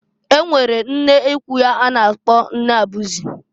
E nwere nnekwu ya a na-akpọ nne abụzị.